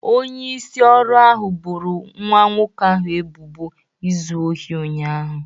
Onyeisi oru ahụ boro nwa nwoke ahụ ebubo izu ohi ụnyaahụ